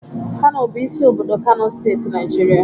Kano bụ isi obodo Kano steeti, Naijiria.